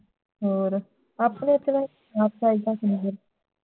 ਹੋਰ ਆਪਣੇ ਓਥੇ ਨਾ ਆਪਾਂ